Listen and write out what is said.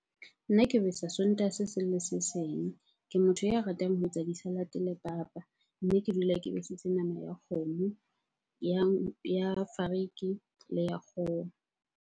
Nna ke besa Sontaha se seng le se seng. Ke motho ya ratang ho etsa di-salad-e le papa. Mme ke dula ke besitse nama ya kgomo, ya fariki le ya kgoho.